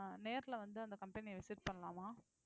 நேரிலே வந்து அந்த company அ visit பண்ணலாமா